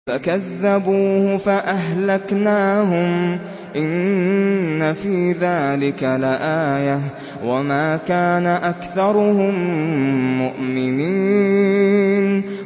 فَكَذَّبُوهُ فَأَهْلَكْنَاهُمْ ۗ إِنَّ فِي ذَٰلِكَ لَآيَةً ۖ وَمَا كَانَ أَكْثَرُهُم مُّؤْمِنِينَ